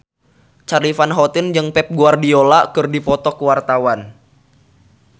Charly Van Houten jeung Pep Guardiola keur dipoto ku wartawan